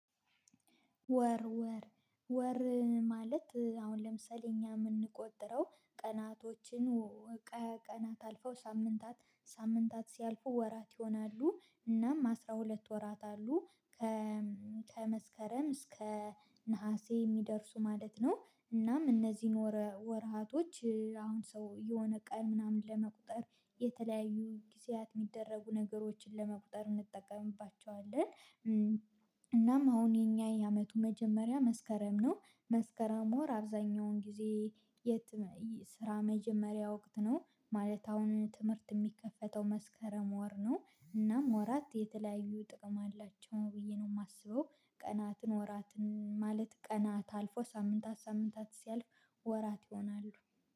ወር ወር ወር ማለት አሁን ለምሳሌ እኛ የምንቆጥረው ቀናቶችን ወቀ ቀናት አልፈው ሳምንታት ሳምንታት ሲያልፉ ወራት ይሆናሉ እናም አስራ ሁለት ወራት አሉ። ከመስከረም እስከ ነሀሴ የሚደርሱ ማለት ነው። እናም እነዚህን ወር ወርሃቶች አሁን ሰው የሆነ ቀን ምናምን ለመቁጠር የተለያዩ ጊዜያት የሚደረጉ ነገሮችን ለመቁጠር እንጠቀምባቸዋለን። እናም አሁን የኛ የአመቱ መጀመሪያ መስከረም ነው። መስከረም ወር አብዛኛውን ጊዜ የት ስራ መጀመሪያ ወቅት ነው ማለት አሁን ትምህርት የሚከፈተው መስከረም ወር ነው። እናም ወራት የተለያዩ ጥቅም አላቸው ብዬ ነው የማስበው። ቀናትን ወራትን ማለት ቀናት አልፎ ሳምንታት ሳምንታት ሲያልፍ ወራት ይሆናሉ